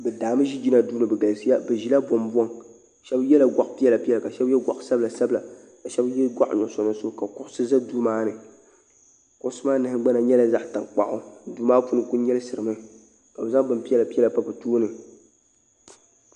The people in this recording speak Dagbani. bɛ daa mi yina do bɛ galisiya bɛ pula bɔŋ bɔŋ shɛbi yɛla gaɣipiɛlla piɛlla ka shɛbi yɛ gaɣisabila sabila ka shɛbi yɛ gaɣinuɣisu ka so za do maa ni o nahingbana nyɛla zaɣ' tankpagu do maa puuni kuli nyɛlisiri mi ka be zaŋ bɛn piɛla piɛla pa be tuuni